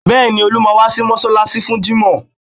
Bẹ́ẹ̀ni, Olú máa wá sí mọ́ṣáláṣí fún jímọ̀